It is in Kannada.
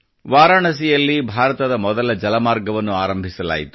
ವಾರಣಾಸಿಯಲ್ಲಿ ಭಾರತದ ಮೊದಲ ಜಲಮಾರ್ಗವನ್ನು ಆರಂಭಿಸಲಾಯಿತು